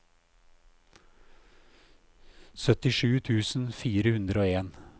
syttisju tusen fire hundre og en